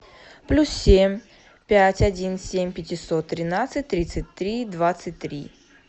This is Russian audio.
плюс семь пять один семь пятьсот тринадцать тридцать три двадцать три